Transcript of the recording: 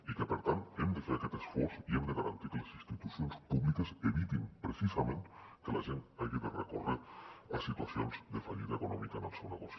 i que per tant hem de fer aquest esforç i hem de garantir que les institucions públiques evitin precisament que la gent hagi de recórrer a situacions de fallida econòmica en el seu negoci